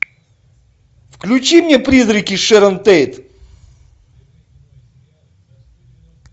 включи мне призраки шэрон тейт